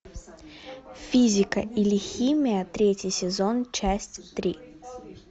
физика или химия третий сезон часть три